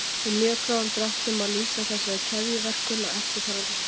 Í mjög grófum dráttum má lýsa þessari keðjuverkun á eftirfarandi hátt.